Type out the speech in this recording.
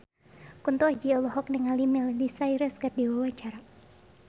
Kunto Aji olohok ningali Miley Cyrus keur diwawancara